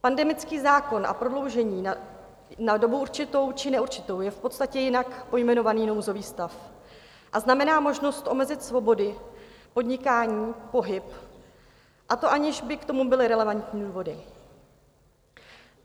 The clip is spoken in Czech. Pandemický zákon a prodloužení na dobu určitou či neurčitou je v podstatě jinak pojmenovaný nouzový stav a znamená možnost omezit svobody, podnikání, pohyb, a to aniž by k tomu byly relevantní důvody.